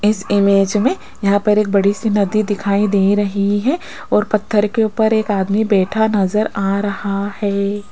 इस इमेज में यहां पर एक बड़ी सी नदी दिखाई दे रही है और पत्थर के ऊपर एक आदमी बैठा नजर आ रहा है।